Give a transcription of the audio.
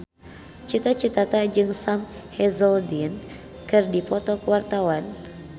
Cita Citata jeung Sam Hazeldine keur dipoto ku wartawan